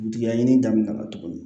Digɛn ɲini ka na tuguni